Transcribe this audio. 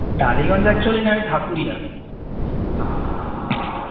Tollygunge actually নয় ঢাকুরিয়া